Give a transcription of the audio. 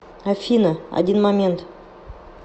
афина один момент